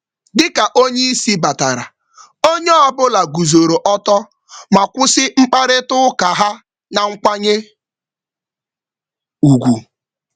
Mgbe oga batara, Mgbe oga batara, onye ọ bụla biliri ma kwụsị mkparịta ụka ha n’ihi nkwanye ùgwù.